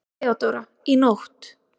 THEODÓRA: Í nótt.